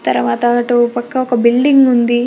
తరువాత అటు ఓపక్క ఒక బిల్డింగ్ ఉంది.